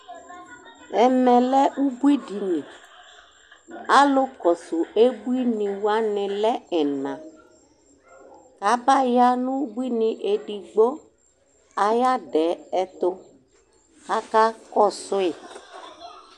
Ɛmɛlɛ ʋbui dini, alʋkɔsʋ ebuiniwani lɛ ɛna Abaya nʋ ʋbuini edigbo ayʋ adɛ ɛtʋ, kʋ akakɔsʋ yi